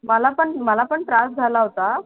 मला पण मला पण त्रास झाला होता